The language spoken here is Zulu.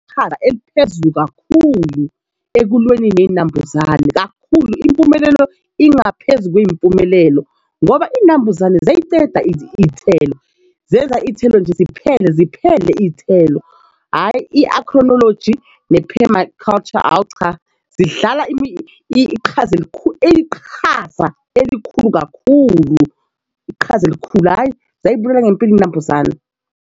Iqhaza eliphezulu kakhulu ekulweni ney'nambuzane kakhulu. Impumelelo ingaphezu kwey'mpumelelo ngoba iy'nambuzane ziyayiceda iy'thelo zenza iy'thelo nje ziphele ziphele iy'thelo hhayi ne-permaculture hawu cha zidlala iqhaza elikhulu iqhaza elikhulu kakhulu iqhaza elikhulu hhayi ziyayibulala ngempeli inambuzane.